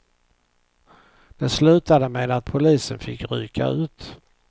Det slutade med att polisen fick rycka ut.